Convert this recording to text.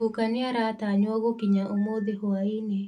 Guka nĩaratanyũo gũkinya ũmũthĩ hũainĩ.